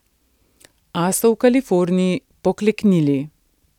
A so v Kaliforniji pokleknili.